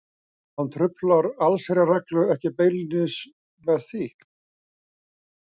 Hann truflar allsherjarreglu ekki beinlínis með því.